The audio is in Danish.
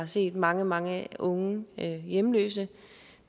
set mange mange unge hjemløse